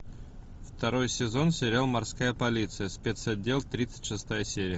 второй сезон сериал морская полиция спецотдел тридцать шестая серия